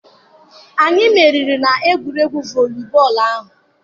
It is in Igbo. Anyị meriri na egwuregwu volibọọlụ ahụ.